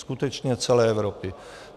Skutečně celé Evropy.